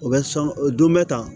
O bɛ sɔn o don bɛ tan